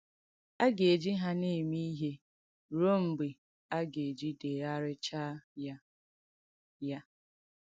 A ga-ejì ha na-eme ìhé ruò mgbe a ga-edèghàrìchà ya. ya.